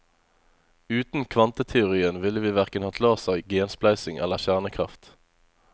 Uten kvanteteorien ville vi hverken hatt laser, genspleising eller kjernekraft.